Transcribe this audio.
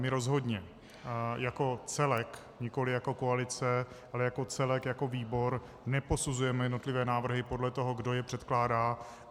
My rozhodně jako celek, nikoli jako koalice, ale jako celek jako výbor neposuzujeme jednotlivé návrhy podle toho, kdo je předkládá.